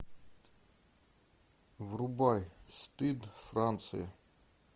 врубай стыд франция